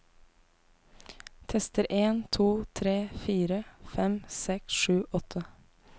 Tester en to tre fire fem seks sju åtte